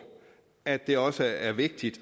at det også er vigtigt